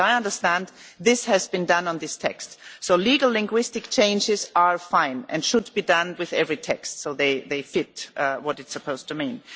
As far as I understand, this has been done on this text. Legal linguistic changes are fine and should be done with every text so they fit what it is supposed to mean.